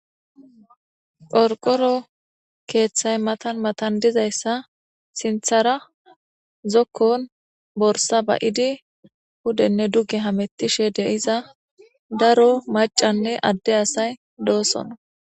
Qorqoro keeththay matan matan dizayssa sinthara zokkon borsa ba'idi hudenne duge hamettishe deiza daro macanne adde asay doosona